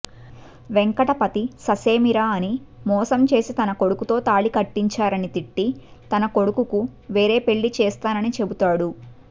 వెంకటపతి ససేమిరా అని మోసం చేసి తనకొడుకుతో తాళి కట్టించారని తిట్టి తనకొడుకుకు వేరే పెళ్ళి చేస్తానని చెపుతాడు